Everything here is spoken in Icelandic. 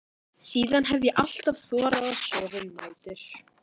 Síðan hef ég alltaf þorað að sofa um nætur.